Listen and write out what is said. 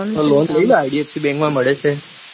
તે લોન લઇ લે idfc bank માં મળે છે.